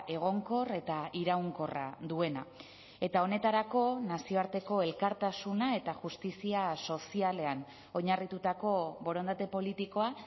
egonkor eta iraunkorra duena eta honetarako nazioarteko elkartasuna eta justizia sozialean oinarritutako borondate politikoa